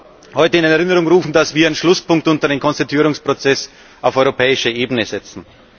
Ich darf heute in Erinnerung rufen, dass wir einen Schlusspunkt unter den Konstituierungsprozess auf europäischer Ebene setzen.